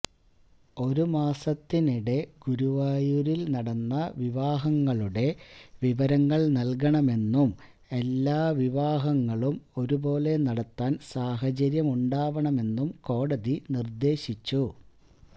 ഒരു മാസത്തിനിടെ ഗുരുവായൂരില് നടന്ന വിവാഹങ്ങളുടെ വിവരങ്ങള് നല്കണമെന്നും എല്ലാ വിവാഹങ്ങളും ഒരു പോലെ നടത്താന് സാഹചര്യമുണ്ടാവണമെന്നും കോടതി നിര്ദ്ദേശിച്ചു